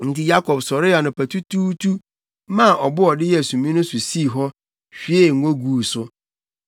Enti Yakob sɔree anɔpatutuutu maa ɔbo a ɔde yɛɛ sumii no so sii hɔ, hwiee ngo guu so.